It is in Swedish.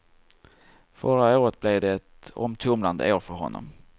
Förra året blev ett omtumlande år för honom.